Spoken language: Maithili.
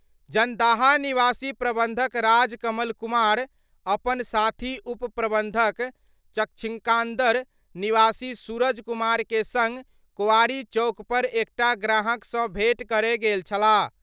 जन्दाहा निवासी प्रबंधक राज कमल कुमार अपन साथी उप प्रबंधक चक्षिकांदर निवासी सूरज कुमार के संग कोआरी चौक पर एकटा ग्राहक सं भेंट करय गेल छलाह।